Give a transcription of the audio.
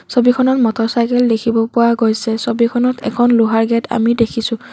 ছবিখনত motor cycle দেখিব পোৱা গৈছে ছবিখনত এখন লোহাৰ গেট আমি দেখিছোঁ।